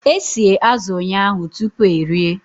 E sie azụ̀ ụnyahụ tupu erie